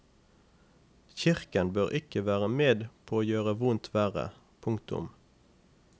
Kirken bør ikke være med på å gjøre vondt verre. punktum